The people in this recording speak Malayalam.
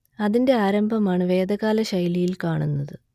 അതിന്റെ ആരംഭമാണ് വേദകാല ശൈലിയിൽ കാണുന്നത്